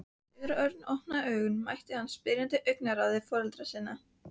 Þegar Örn opnaði augun mætti hann spyrjandi augnaráði foreldra sinna.